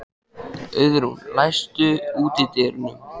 Auðrún, læstu útidyrunum.